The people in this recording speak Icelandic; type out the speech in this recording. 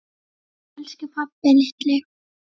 Elsku pabbi litli.